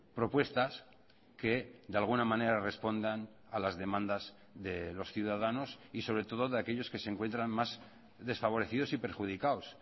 propuestas que de alguna manera respondan a las demandas de los ciudadanos y sobre todo de aquellos que se encuentran más desfavorecidos y perjudicados